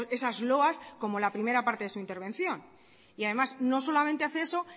esas loas como la primera parte de su intervención y además no solamente hace eso